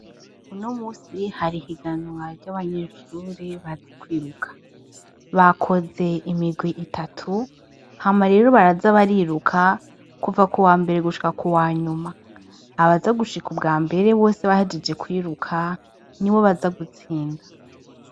Unomunsi, hari ihiganwa ry’abanyeshure bazi kwiruka. Bakoze imigwi itatu, hama rero baraza bariruka kuva kuwambere gushika kuwanyuma , abaza gushika ubwambere bose bahejeje kwiruka nibo baza gutsinda.